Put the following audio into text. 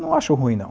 Não acho ruim, não.